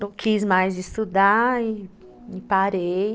quis mais estudar e parei.